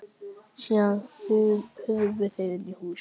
Síðan hurfu þeir inn í hús.